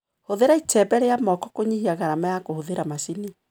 Hũthĩra icembe rĩa moko kũnyihia garama ya kũhũthĩra macini.